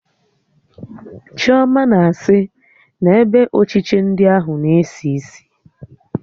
Chioma na-sị na ebe ochiche ndi ahụ na-esi isi